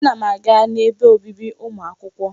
Ana m aga n'ebe obibi ụmụ akwụkwọ.